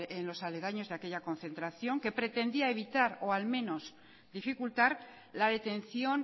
en los aledaños de aquella concentración que pretendía evitar o al menos dificultar la detención